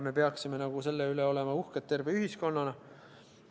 Me peaksime selle üle terve ühiskonnana uhked olema.